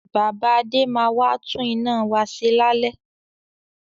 Bàbá Adé máa wà tún iná wá ṣe lálẹ́